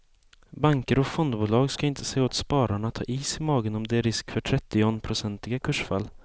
Banker och fondbolag ska inte säga åt spararna att ha is i magen om det är en risk för trettionprocentiga kursfall.